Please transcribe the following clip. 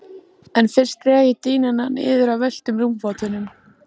En fyrst dreg ég dýnuna niður af völtum rúmfótunum.